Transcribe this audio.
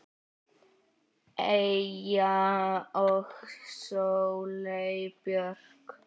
Eyja og Sóley Björk.